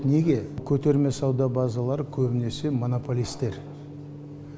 неге көтерме сауда базалары көбінесе монополистер